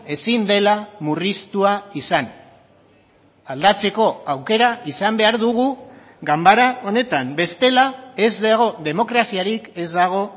ezin dela murriztua izan aldatzeko aukera izan behar dugu ganbara honetan bestela ez dago demokraziarik ez dago